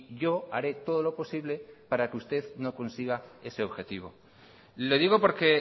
yo haré todo lo posible para que usted no consiga ese objetivo le digo porque